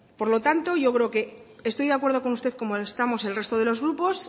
por lo tanto yo creo que estoy de acuerdo con usted como lo estamos el resto de los grupos